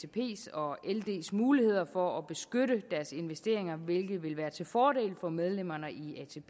og ld’s muligheder for at beskytte deres investeringer hvilket vil være til fordel for medlemmerne